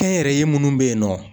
Kɛnyɛrɛye munnu bɛ ye nɔ.